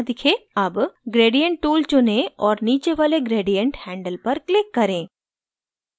अब gradient tool चुनें और नीचे वाले gradient handle पर click करें